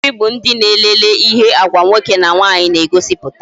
Ndi nkiri bụ ndị na-elele ihe Agwa nwoke na nwaanyị na egosiputa